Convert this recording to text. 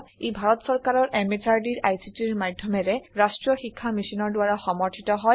ই ভাৰত সৰকাৰৰ MHRDৰ ICTৰ মাধ্যমেৰে ৰাষ্ট্ৰীয় শীক্ষা Missionৰ দ্ৱাৰা সমৰ্থিত হয়